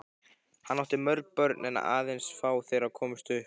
Hann átti mörg börn en aðeins fá þeirra komust upp.